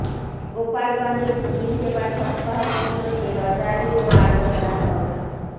গোলাপগঞ্জে ভূমি সেবা সপ্তাহ উপলক্ষে র্যালী ও আলোচনা সভা